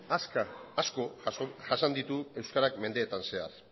asko jasan ditu euskarak mendeetan zehar